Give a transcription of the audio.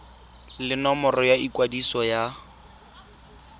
le nomoro ya ikwadiso ya